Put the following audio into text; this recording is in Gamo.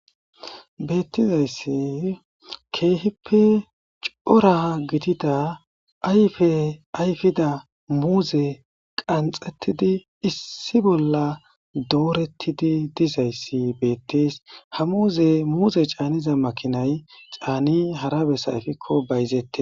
Bettizayssi keehippe cora gidida ayfe ayfida muuze qanxettidi issi bolla doorettidi dizayssi beettees ha muuze muuze caaniza makinay caani hara besayfikko bayzette.